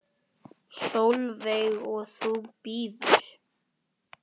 Sólveig: Og þú bíður?